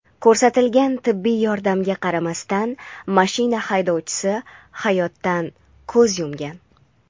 Ko‘rsatilgan tibbiy yordamga qaramasdan mashina haydovchi hayotdan ko‘z yumgan.